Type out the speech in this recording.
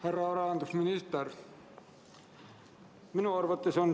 Härra rahandusminister!